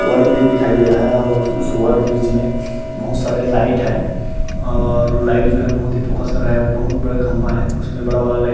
Over bridge दिखाई दे रहा है और उस ओवर ब्रिज में बहुत सारे लाइट है और लाइट जो है बहुत फोकस कर रहा है बहुत ही बड़ा खम्भा है।